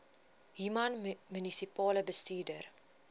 human munisipale bestuurder